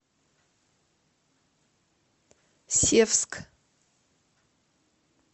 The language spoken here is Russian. севск